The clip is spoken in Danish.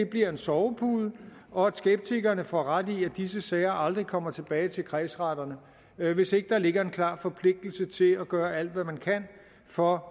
bliver en sovepude og at skeptikerne får ret i at disse sager aldrig kommer tilbage til kredsretterne hvis ikke der ligger en klar forpligtelse til at gøre alt hvad man kan for